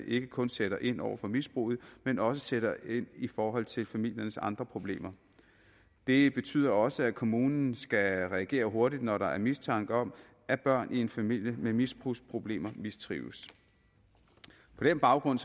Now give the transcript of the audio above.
ikke kun sætter ind over for misbruget men også sætter ind i forhold til familiernes andre problemer det betyder også at kommunen skal reagere hurtigt når der er mistanke om at børn i en familie med misbrugsproblemer mistrives på den baggrund